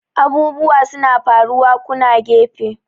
abubuwa suna faruwa kuna gefe!